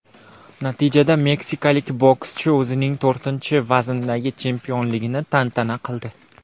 Natijada meksikalik bokschi o‘zining to‘rtinchi vazndagi chempionligini tantana qildi.